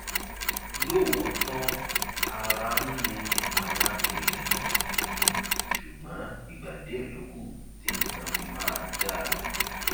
lóòótọ ara ń ni àwọn èèyàn ṣùgbọn ìgbà díẹ ló kù tí nǹkan fi máa dá a